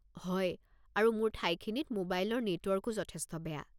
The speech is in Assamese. হয়, আৰু মোৰ ঠাইখিনিত ম'বাইলৰ নেটৱৰ্কো যথেষ্ট বেয়া।